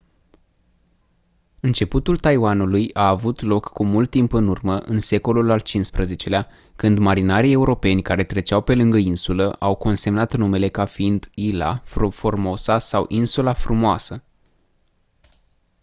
începutul taiwanului a avut loc cu mult timp în urmă în secolul al xv-lea când marinarii europeni care treceau pe lângă insulă au consemnat numele ca fiind ilha formosa sau insula frumoasă